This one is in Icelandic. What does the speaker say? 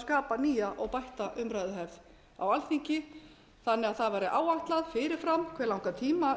skapa nýja og bætta umræðuhefð á alþingi þannig að það væri áætlað fyrir fram hve langan tíma